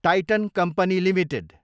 Titan company Ltd